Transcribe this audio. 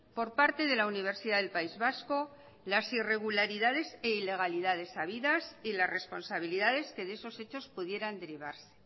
por parte de la universidad del país vasco las irregularidades e ilegalidades habidas y las responsabilidades que de esos hechos pudieran derivarse